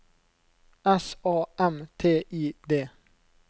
S A M T I D